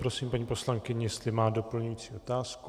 Prosím paní poslankyni, jestli má doplňující otázku.